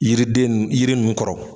Yiriden nu yiri nunnu kɔrɔ